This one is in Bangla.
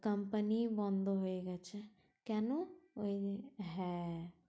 Company বন্ধ হয়ে গেছে, কেনো ওই যে হ্যাঁ